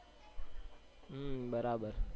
હમ બરાબર